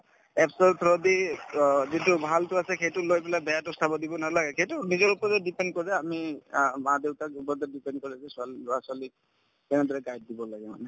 Apps ৰ through দি অ যিটো ভালটো আছে সেইটো লৈ পেলাই বেয়াতো চাব দিব নালাগে সেইটো নিজৰ ওপৰত depend কৰে আমি আ মা-দেউতাৰ ওপৰতে depend কৰে যে ছোৱালি লৰা-ছোৱালি কেনেদৰে guide দিব লাগে মানে